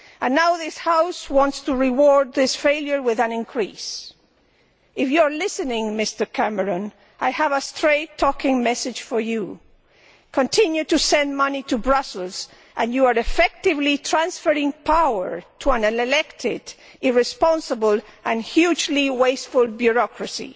Now this House wants to reward this failure with an increase. If you are listening, Mr Cameron, I have a straight talking message for you continue to send money to Brussels and you are effectively transferring power to an unelected, irresponsible and hugely wasteful bureaucracy.